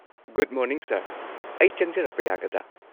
Good morning sir, ꯑꯩ ꯆꯪꯖꯔꯛꯄ ꯌꯥꯒꯗ꯭ꯔꯥ?